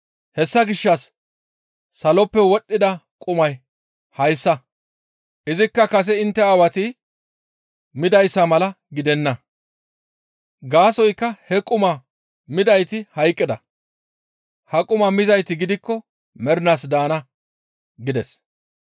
Hessa gishshas saloppe wodhdhida qumay hayssa; izikka kase intte aawati midayssa mala gidenna. Gaasoykka he qumaa midayti hayqqida; ha qumaa mizayti gidikko mernaas daana» gides.